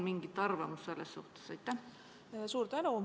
Kas teil on selle kohta mingisugune arvamus?